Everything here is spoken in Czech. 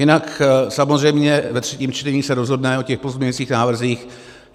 Jinak samozřejmě ve třetím čtení se rozhodne o těch pozměňovacích návrzích.